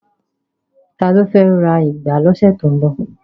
Ta ló fẹ́ lọ ra ìgbá lọ́sẹ̀ tó ń bọ̀?